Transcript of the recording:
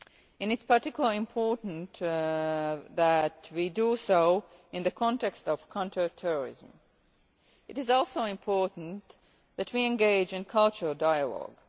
board. It is particularly important that we do so in the context of counter terrorism. It is also important that we engage in cultural dialogue.